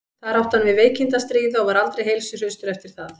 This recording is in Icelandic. þar átti hann við veikindi að stríða og var aldrei heilsuhraustur eftir það